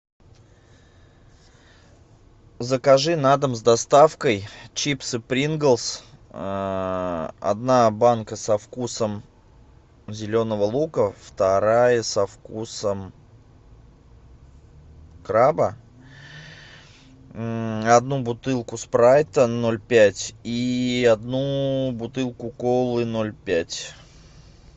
закажи на дом с доставкой чипсы принглс одна банка со вкусом зеленого лука вторая со вкусом краба одну бутылку спрайта ноль пять и одну бутылку колы ноль пять